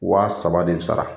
Wa saba de bi sara.